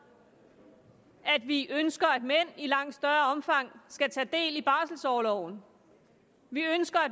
at vi ønsker at mænd i langt større omfang skal tage del i barselorloven vi ønsker at